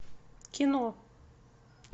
кино